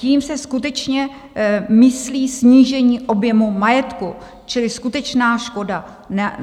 Tím se skutečně myslí snížení objemu majetku čili skutečná škoda.